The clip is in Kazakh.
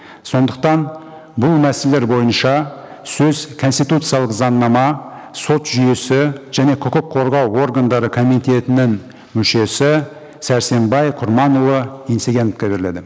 сондықтан бұл мәселелер бойынша сөз конституциялық заңнама сот жүйесі және құқық қорғау органдары комитетінің мүшесі сәрсенбай құрманұлы еңсегеновқа беріледі